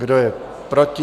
Kdo je proti?